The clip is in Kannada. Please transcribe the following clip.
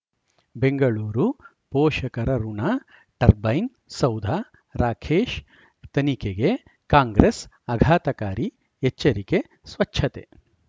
ಬೆಂಗಳೂರು ಪೋಷಕರಋಣ ಟರ್ಬೈನ್ ಸೌಧ ರಾಕೇಶ್ ತನಿಖೆಗೆ ಕಾಂಗ್ರೆಸ್ ಆಘಾತಕಾರಿ ಎಚ್ಚರಿಕೆ ಸ್ವಚ್ಛತೆ